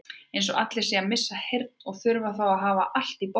Eins og allir séu að missa heyrnina og þurfi að hafa allt í botni.